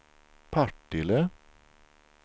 Partille